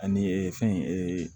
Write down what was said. Ani fɛn